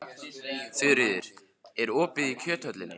Þuríður, er opið í Kjöthöllinni?